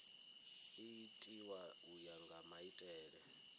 itiwa u ya nga maitele